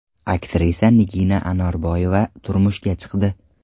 Aktrisa Nigina Anorboyeva turmushga chiqdi.